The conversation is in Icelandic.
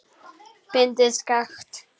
Bindið skakkt.